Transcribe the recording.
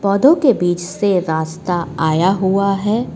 पौधों के बीच से रास्ता आया हुआ है।